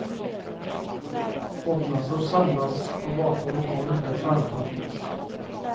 Folkmassor samlas på gator och torg där skärmarna finns.